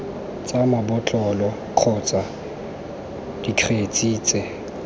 tsa mabotlolo kgotsa dikgetse tse